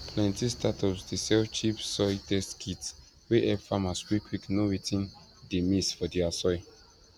plenty startups dey sell cheap soil test kits wey help farmers quickquick know wetin dey miss for dia soil